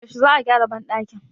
yaushe za a gyara bandakin?